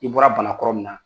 I bɔra bana kɔrɔ min na